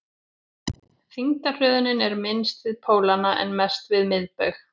þyngdarhröðunin er minnst við pólana en mest við miðbaug